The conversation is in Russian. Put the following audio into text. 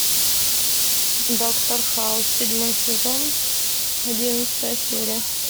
доктор хаус седьмой сезон одиннадцатая серия